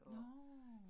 Nårh